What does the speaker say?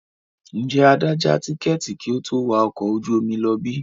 Ǹjẹ́ Adé ja tikẹ́ẹ́tì kí ó tó wà ọkọ̀ ojú omi lọ bí?